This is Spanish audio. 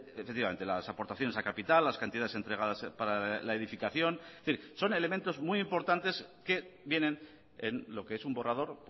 efectivamente las aportaciones a capital las cantidades entregadas para la edificación es decir son elementos muy importantes que vienen en lo que es un borrador